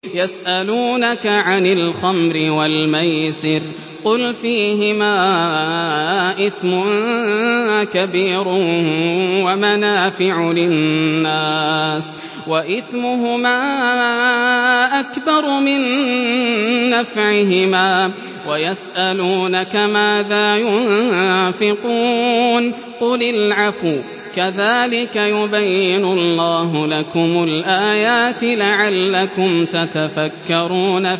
۞ يَسْأَلُونَكَ عَنِ الْخَمْرِ وَالْمَيْسِرِ ۖ قُلْ فِيهِمَا إِثْمٌ كَبِيرٌ وَمَنَافِعُ لِلنَّاسِ وَإِثْمُهُمَا أَكْبَرُ مِن نَّفْعِهِمَا ۗ وَيَسْأَلُونَكَ مَاذَا يُنفِقُونَ قُلِ الْعَفْوَ ۗ كَذَٰلِكَ يُبَيِّنُ اللَّهُ لَكُمُ الْآيَاتِ لَعَلَّكُمْ تَتَفَكَّرُونَ